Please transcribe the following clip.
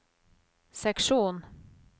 seksjon